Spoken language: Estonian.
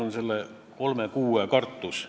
Aga mil määral me peaksime alati juhinduma Euroopa praktikast?